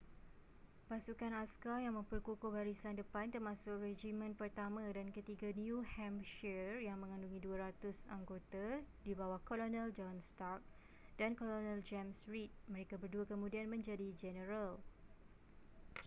pasukan askar yang memperkukuh barisan depan termasuk regimen pertama dan ketiga new hampshire yang mengandungi 200 anggota di bawah kolonel john stark dan kolonel james reed mereka berdua kemudian menjadi jeneral